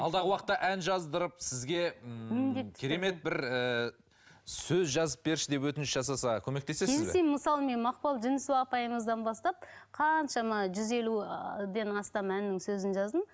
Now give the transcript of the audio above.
алдағы уақытта ән жаздырып сізге ііі міндетті түрде керемет бір ііі сөз жазып берші деп өтініш жасаса көмектесіз бе келісемін мысалы мен мақпал жүнісова апайымыздан бастап қаншама жүз елу ыыы астам әннің сөзін жаздым